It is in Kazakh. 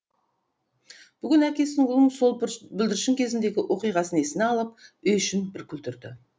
бүгін әкесі ұлының сол бүлдіршін кезіндегі оқиғасын есіне алып үй ішін бір күлдірді